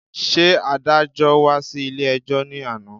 Ṣé adájọ́́ wá sí ilé-ẹjọ́ ní àná